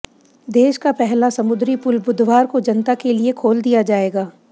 देश का पहला समुद्री पुल बुधवार को जनता के लिए खोल दिया जाएगा